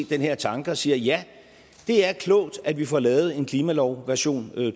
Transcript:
den her tanke og siger ja det er klogt at vi får lavet en klimalov version